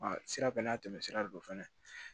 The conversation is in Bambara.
Sira bɛɛ n'a tɛmɛsira de don fɛnɛ